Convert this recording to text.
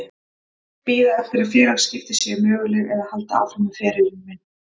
Bíða eftir að félagaskipti séu möguleg eða halda áfram með ferilinn minn?